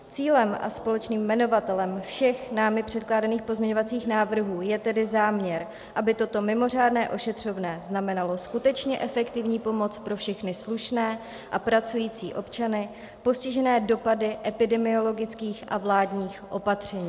Cílem a společným jmenovatelem všech námi předkládaných pozměňovacích návrhů je tedy záměr, aby toto mimořádné ošetřovné znamenalo skutečně efektivní pomoc pro všechny slušné a pracující občany postižené dopady epidemiologických a vládních opatření.